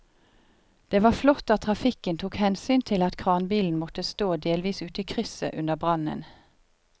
Det var flott at trafikken tok hensyn til at kranbilen måtte stå delvis ute i krysset under brannen.